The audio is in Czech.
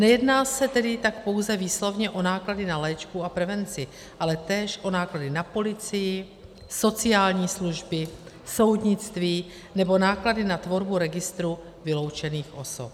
Nejedná se tak tedy pouze výslovně o náklady na léčbu a prevenci, ale též o náklady na policii, sociální služby, soudnictví nebo náklady na tvorbu registru vyloučených osob.